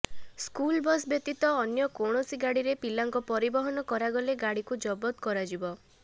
school bus ବ୍ୟତୀତ ଅନ୍ୟ କୌଣସି ଗାଡ଼ିରେ ପିଲାଙ୍କ ପରିବହନ କରାଗଲେ ଗାଡ଼ିକୁ ଜବତ କରାଯିବ